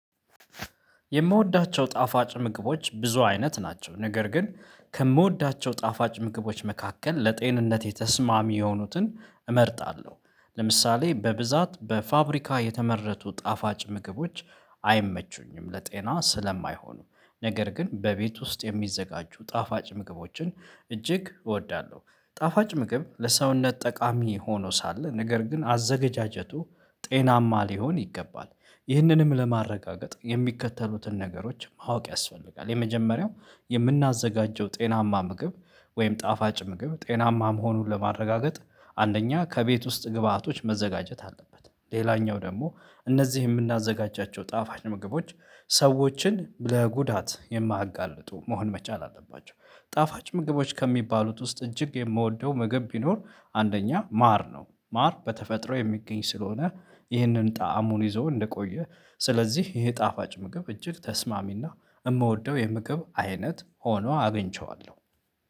የምወዳቸው ጣፋጭ ምግቦች ብዙ አይነት ናቸው። ነገር ግን ከምወዳቸው ጣፋጭ ምግቦች መካከል ለጤንነት የተስማሚ የሆኑትን እመርጣለሁ። ለምሳሌ በብዛት በፋብሪካ የተመረጡ ጣፋጭ ምግቦች አይመቹኝም ለጤና ስለማይሆኑ። ነገር ግን በቤት ውስጥ የሚዘጋጁ ጣፋጭ ምግቦችን እጅግ እወዳለሁ። ጣፋጭ ምግብ ለሰውነት ጠቃሚ ሆኖ ሳለ ነገር ግን አዘገጃጀቱ ጤናማ ሊሆን ይገባል። ይህንንም ለማረጋገጥ የሚከተሉትን ነገሮች ማወቅ ያስፈልጋል። የመጀመሪያው የምናዘጋጀው ጤናማ ምግብ ወይም ጣፋጭ ምግብ ጤናማ መሆኑን ለማረጋገጥ አንደኛ ከቤት ውስጥ ግብአቶች መዘጋጀት አለበት። ሌላኛው ደግሞ እነዚህ የምናዘጋጃቸው ጣፋጭ ምግቦች ሰዎችን ለጉዳት የማያጋልጡ መሆን መቻል አለባቸው። ጣፋጭ ምግቦች ከሚባሉት ውስጥ እጅግ የምወደው ምግብ ቢኖር አንደኛ ማር ነው። ማር በተፈጥሮ የሚገኝ ስለሆነ። ይህንን ጣዕሙን ይዞ እንደቆየ ስለዚህ ይሄ ጣፋጭ ምግብ እጅግ ተስማሚና የምወደው የምግብ አይነት ሆኖ አግኝቼዋለሁ